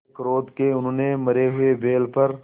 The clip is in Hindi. मारे क्रोध के उन्होंने मरे हुए बैल पर